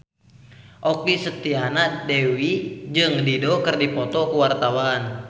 Okky Setiana Dewi jeung Dido keur dipoto ku wartawan